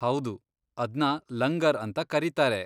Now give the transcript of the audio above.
ಹೌದು, ಅದ್ನ ಲಂಗರ್ ಅಂತ ಕರೀತಾರೆ.